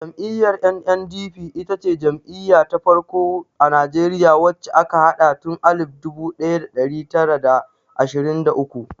Jam'iyyar NNDP ita ce jam'iya ta farko a Najeriya wacce aka haɗa tun alif dubu ɗaya da ɗari tara da ashirin da uku.